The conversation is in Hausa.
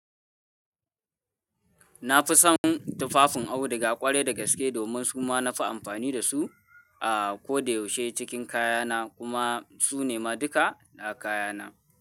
Na fi son tufafin auduga ƙware da gaske domin su ma na fi amfani da su a ko da yaushe cikin kayana kuma su ne ma duka da kayana.